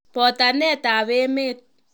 Botanetab emet.